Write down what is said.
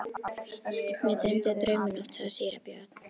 Mig dreymdi draum í nótt, sagði síra Björn.